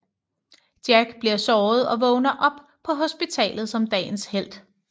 Jack bliver såret og vågner op på hospitalet som dagens helt